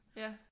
Ja